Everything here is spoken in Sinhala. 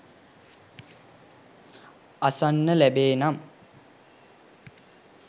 අසන්න ලැබේනම්